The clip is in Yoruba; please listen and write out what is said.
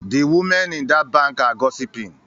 The women in that bank are gossiping